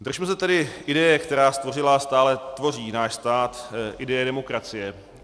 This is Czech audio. Držme se tedy ideje, která stvořila a stále tvoří náš stát, ideje demokracie.